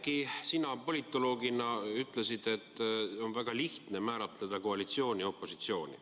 Oudekki, sina politoloogina ütlesid, et on väga lihtne määratleda koalitsiooni ja opositsiooni.